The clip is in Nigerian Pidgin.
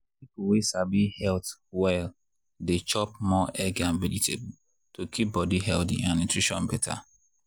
people wey sabi health well dey chop more egg and vegetable to keep body healthy and nutrition better.